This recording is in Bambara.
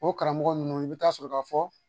O karamɔgɔ ninnu i bɛ taa sɔrɔ ka fɔ